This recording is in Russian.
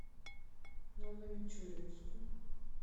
новомичуринску